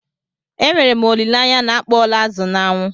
E nwere m olile anya na akpọọla azụ n'anwụ?